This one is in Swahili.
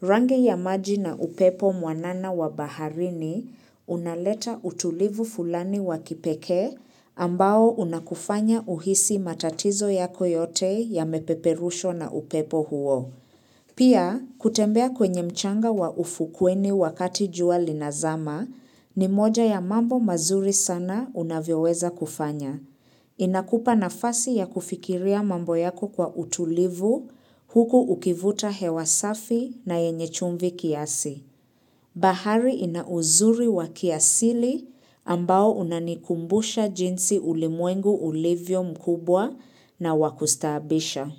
Rangi ya maji na upepo mwanana wa baharini, unaleta utulivu fulani wa kipeke ambao unakufanya uhisi matatizo yako yote yamepeperusho na upepo huo. Pia, kutembea kwenye mchanga wa ufukweni wakati jua linazama, ni moja ya mambo mazuri sana unavyoweza kufanya. Inakupa nafasi ya kufikiria mambo yako kwa utulivu huku ukivuta hewa safi na yenye chumvi kiasi. Bahari ina uzuri wa kiasili ambao unanikumbusha jinsi ulimwengu ulivyo mkubwa na wakustabisha.